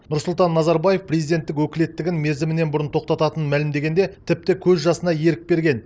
нұрсұлтан назарбаев президенттік өкілеттігін мерзімінен бұрын тоқтататынын мәлімдегенде тіпті көз жасына ерік берген